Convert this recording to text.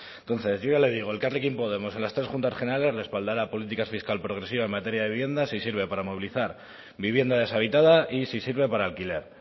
entonces yo ya le digo elkarrekin podemos en las tres juntas generales respaldará políticas fiscal progresiva en materia de vivienda si sirve para movilizar vivienda deshabitada y si sirve para alquiler